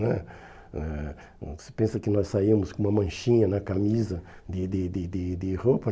né eh hum Você pensa que nós saímos com uma manchinha na camisa de de de de de roupa?